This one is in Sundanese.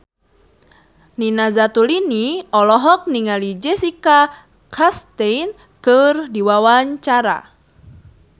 Nina Zatulini olohok ningali Jessica Chastain keur diwawancara